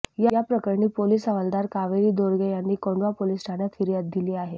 याप्रकरणी पोलीस हवालदार कावेरी दोरगे यांनी कोंढवा पोलीस ठाण्यात फिर्याद दिली आहे